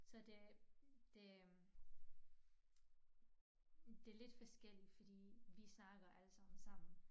Så det det øh det lidt forskelligt fordi vi snakker alle sammen sammen